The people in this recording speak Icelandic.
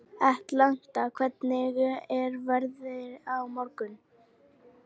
Atlanta, hvernig er veðrið á morgun?